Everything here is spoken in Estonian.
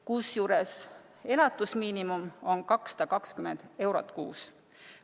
Kusjuures elatusmiinimum on 220 eurot kuus.